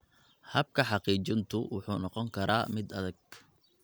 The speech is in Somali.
Habka xaqiijintu wuxuu noqon karaa mid adag.